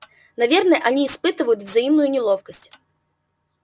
наверное они испытают взаимную неловкость